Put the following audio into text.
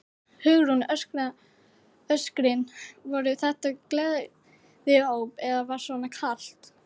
Hugrún: Öskrin, voru þetta gleðióp eða var svona kalt?